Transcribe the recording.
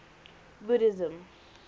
buddhism